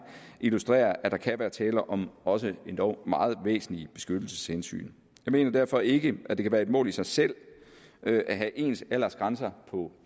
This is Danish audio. illustrerer at der kan være tale om også endog meget væsentlige beskyttelseshensyn jeg mener derfor ikke at det kan være et mål i sig selv at at have ens aldersgrænser på